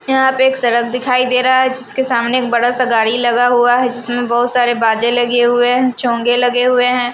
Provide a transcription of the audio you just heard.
यहां पे एक सड़क दिखाई दे रहा है जिसके सामने एक बड़ा सा गाड़ी लगा हुआ है जिसमें बहुत सारे बाजे लगे हुए हैं चोंगे लगे हुए हैं।